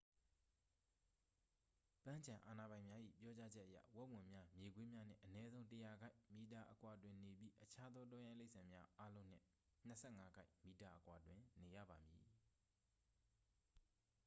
ပန်းခြံအာဏာပိုင်များ၏ပြောကြားချက်အရ၊ ဝက်ဝံများ၊ မြေခွေးများနှင့် အနည်းဆုံး ၁၀၀ ကိုက်/မီတာ အကွာတွင်နေပြီး အခြားသောတောရိုင်းတိရစ္ဆာန်အားလုံးနှင့် ၂၅ ကိုက်/မီတာအကွာတွင်နေရပါမည်။